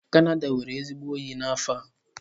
Canada nwere ezigbo oyi n'afọ a.